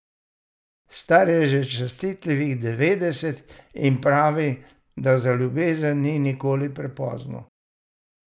Star je že častitljivih devetdeset in pravi, da za ljubezen nikoli ni prepozno.